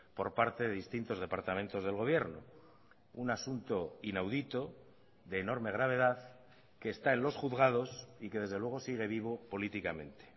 por parte de distintos departamentos del gobierno un asunto inaudito de enorme gravedad que está en los juzgados y que desde luego sigue vivo políticamente